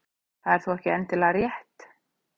Það er þó ekki endilega rétt.